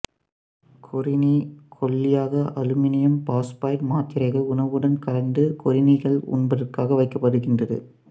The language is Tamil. கொறிணி கொல்லியாக அலுமினியம் பாசுபைடு மாத்திரைகள் உணவுடன் கலந்து கொறிணிகள் உண்பதற்காக வைக்கப்படுகின்றது